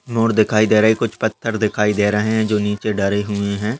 Mode दिखाई दे रही है। कुछ पत्थर दिखाई दे रहे हैं जो नीचे डले हुए हैं।